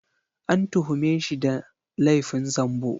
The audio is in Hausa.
An tuhume shi da laifin zambo